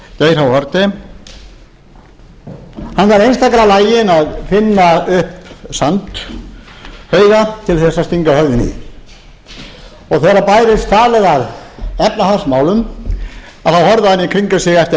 geir h haarde hann væri einstaklega laginn að finna upp sandhauga til að stinga höfðinu í þegar bærist talið að efnahagsmálum þá horfði hann í kringum sig eftir